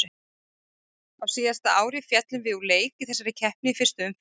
Á síðasta ári féllum við úr leik í þessari keppni í fyrstu umferð.